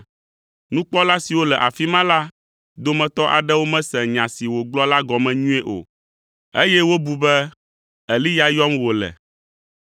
Nukpɔla siwo le afi ma la dometɔ aɖewo mese nya si wògblɔ la gɔme nyuie o, eye wobu be Eliya yɔm wòle.